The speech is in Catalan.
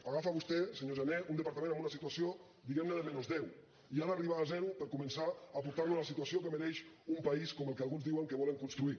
agafa vostè senyor jané un departament amb una situació diguemne de menys deu i ha d’arribar a zero per començar a portarlo a la situació que mereix un país com el que alguns diuen que volen construir